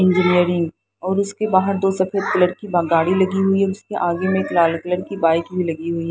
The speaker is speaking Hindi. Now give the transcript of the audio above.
इंजीनियरिंग और उसके बाहर दो सफेद कलर की गाड़ी लगी हुई है जिसके आगे में एक लाल कलर की बाइक भी लगी हुई है।